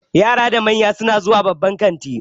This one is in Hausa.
Yara da manya su na zuwa babban kanti